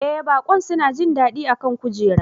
Ee baƙon suna jin daɗi a kan kujera